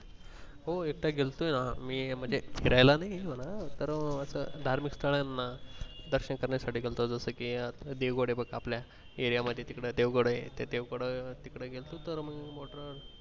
हो एकदा गेलतो म्हणजे फिरायला नाही एकदा गेलतो तर असं धार्मिक स्थाळांना दर्शन करण्यासाठी गेलतो जस कि देवगड आहे बग आपल्या area आपल्या मधी तिकडे देवगड आहे त्या देवगड तिकडे गेलतो